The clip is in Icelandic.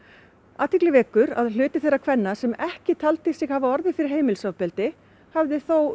athygli vekur að hluti þeirra kvenna sem ekki töldu sig hafa orðið fyrir heimilisofbeldi hafði þó